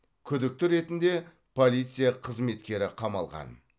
күдікті ретінде полиция қызметкері қамалған